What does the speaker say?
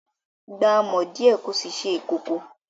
Gba amọ̀ díẹ̀ kí o sì ṣe ìkòkò